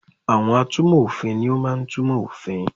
Àwon atúnmọ̀ òfin ni o máa n túnmo òfin